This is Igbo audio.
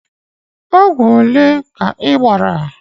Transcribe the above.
Ogwu ole ka I bara